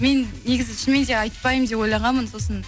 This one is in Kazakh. мен негізі шынымен де айтпаймын деп ойлағанмын сосын